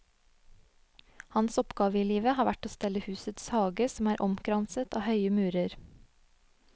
Hans oppgave i livet har vært å stelle husets hage som er omkranset av høye murer.